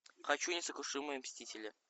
хочу несокрушимые мстители